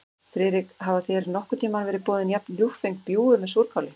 Friðrik, hafa þér nokkurn tíma verið boðin jafn ljúffeng bjúgu með súrkáli?